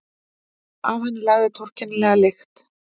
Af henni lagði torkennilega lykt.